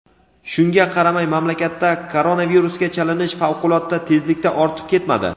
Shunga qaramay mamlakatda koronavirusga chalinish favqulodda tezlikda ortib ketmadi.